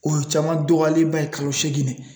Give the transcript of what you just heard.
O ye caman dɔgɔyalenba ye kalo segin na